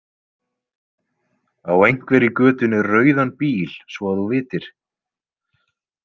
Á einhver í götunni rauðan bíl svo að þú vitir?